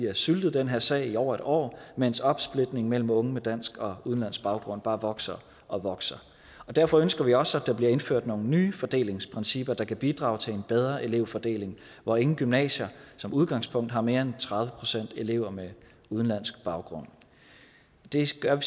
har syltet den her sag i over et år mens opsplitning mellem unge med dansk og unge udenlandsk baggrund bare vokser og vokser derfor ønsker vi også at der bliver indført nogle nye fordelingsprincipper der kan bidrage til en bedre elevfordeling hvor ingen gymnasier som udgangspunkt har mere end tredive procent elever med udenlandsk baggrund det siger